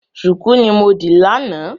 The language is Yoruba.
Ṣùkú ni mo dì lánàá.